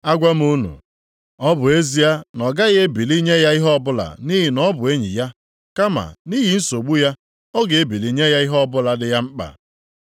Agwa m unu, ọ bụ ezie na ọ gaghị ebili nye ya ihe ọbụla nʼihi na ọ bụ enyi ya, kama nʼihi nsogbu ya, ọ ga-ebili nye ya ihe ọbụla dị ya mkpa.